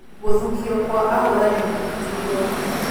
Gũthukio kwa ahũranĩri iturwa.